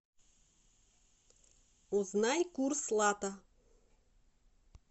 узнай курс лата